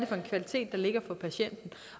for en kvalitet der ligger for patienten